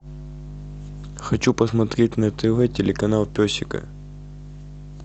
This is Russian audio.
хочу посмотреть на тв телеканал песика